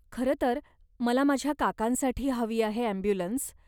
खरंतर, मला माझ्या काकांसाठी हवी आहे ॲम्ब्युलन्स.